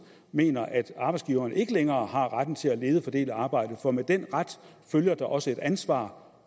mener at arbejdsgiverne ikke længere har retten til at lede og fordele arbejdet for med den ret følger der også et ansvar